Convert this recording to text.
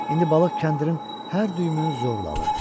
İndi balıq kəndirin hər düyümünü zorla alırdı.